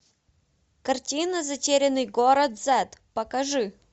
картина затерянный город зет покажи